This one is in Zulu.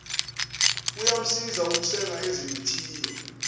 kuyamsiza ukusenga ezimithiyo